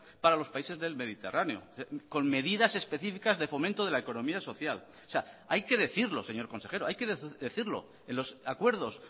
para los países del mediterráneo con medidas específicas de fomento de la economía social o sea hay que decirlo señor consejero hay que decirlo en los acuerdos